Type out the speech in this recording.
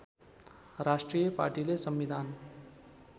राष्ट्रिय पार्टीले संविधान